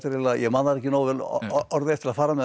ég man þær ekki nógu vel orðrétt til að fara með þær